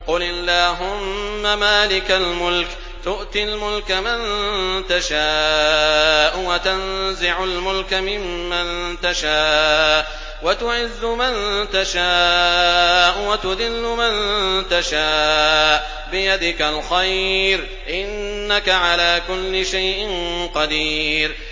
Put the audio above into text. قُلِ اللَّهُمَّ مَالِكَ الْمُلْكِ تُؤْتِي الْمُلْكَ مَن تَشَاءُ وَتَنزِعُ الْمُلْكَ مِمَّن تَشَاءُ وَتُعِزُّ مَن تَشَاءُ وَتُذِلُّ مَن تَشَاءُ ۖ بِيَدِكَ الْخَيْرُ ۖ إِنَّكَ عَلَىٰ كُلِّ شَيْءٍ قَدِيرٌ